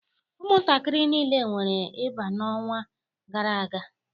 Ụmụntakịrị niile nwere ịba n'ọnwa gara aga